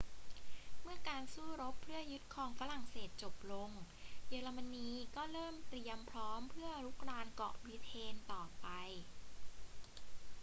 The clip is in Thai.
เมื่อการสู้รบเพื่อยึดครองฝรั่งเศสจบลง เยอรมนีก็เริ่มเตรียมพร้อมเพื่อรุกรานเกาะบริเตนต่อไป